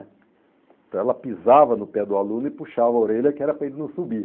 Então ela pisava no pé do aluno e puxava a orelha que era para ele não subir.